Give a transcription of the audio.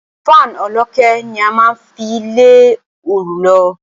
Fan olókè ni a máa ń fi lé oru lọ.